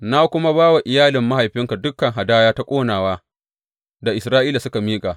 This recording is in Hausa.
Na kuma ba wa iyalin mahaifinka dukan hadaya ta ƙonawa da Isra’ila suka miƙa.